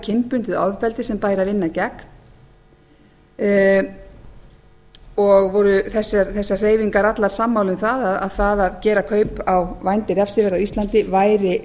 kynbundið ofbeldi sem bæri að vinna gegn og voru þessar hreyfingar allar sammála um það að það að gera kaup á vændi refsivert á íslandi væri